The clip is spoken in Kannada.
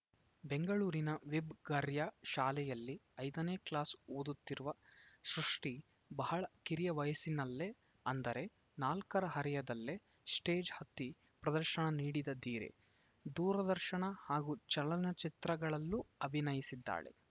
ಬೆಂಗಳೂರಿನ ವಿಬ್‌ ಗಯಾರ್‌ ಶಾಲೆಯಲ್ಲಿ ಐದನೇ ಕ್ಲಾಸ್‌ ಓದುತ್ತಿರುವ ಸೃಷ್ಟಿಬಹಳ ಕಿರಿಯ ವಯಸ್ಸಿನಲ್ಲೇ ಅಂದರೆ ನಾಲ್ಕರ ಹರೆಯದಲ್ಲೇ ಸ್ಟೇಜ್‌ ಹತ್ತಿ ಪ್ರದರ್ಶನ ನೀಡಿದ ಧೀರೆ ದೂರದರ್ಶನ ಹಾಗೂ ಚಲನಚಿತ್ರಗಳಲ್ಲೂ ಅಭಿನಯಿಸಿದ್ದಾಳೆ